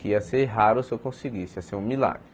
Que ia ser raro se eu conseguisse, ia ser um milagre.